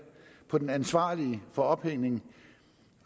på den ansvarlige for ophængning